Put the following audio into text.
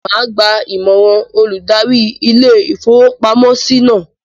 Màá gba Ìmọ̀ràn olùdarí ilé-ìfowópamọ́sí náà.